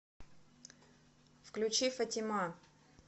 включи фатима